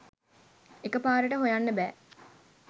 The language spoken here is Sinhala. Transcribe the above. එක පාරට හොයන්න බෑ.